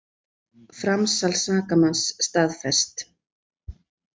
Framsal sakamanns staðfest